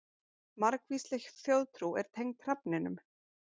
Margvísleg þjóðtrú er tengd hrafninum.